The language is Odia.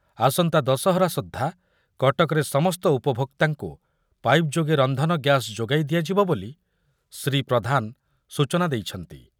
ଆସନ୍ତା ଦଶହରା ସୁଦ୍ଧା କଟକର ସମସ୍ତ ଉପଭୋକ୍ତାଙ୍କୁ ପାଇପ୍ ଯୋଗେ ରନ୍ଧନ ଗ୍ୟାସ୍ ଯୋଗାଇ ଦିଆଯିବ ବୋଲି ଶ୍ରୀ ପ୍ରଧାନ ସୂଚନା ଦେଇଛନ୍ତି।